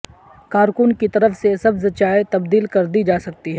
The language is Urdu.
کارکن کی طرف سے سبز چائے تبدیل کردی جا سکتی ہے